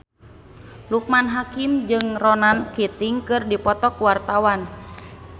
Loekman Hakim jeung Ronan Keating keur dipoto ku wartawan